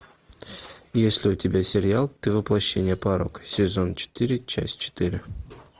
есть ли у тебя сериал ты воплощение порока сезон четыре часть четыре